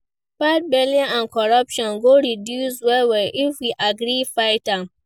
Bad belle and corruption go reduce well well if we gree fight am.